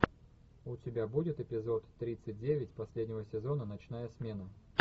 у тебя будет эпизод тридцать девять последнего сезона ночная смена